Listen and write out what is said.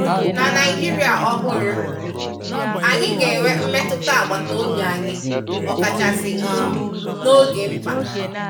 Na Naịjirịa ọhụrụ, anyị ga-enwe mmetụta agbataobi anyị ọkachasị um n'oge mkpa.